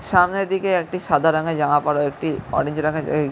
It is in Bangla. সামনের দিকে একটি সাদা রঙের জামা পরা একটি অরেঞ্জ রঙের এই--